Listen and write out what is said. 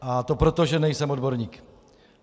A to proto, že nejsem odborník.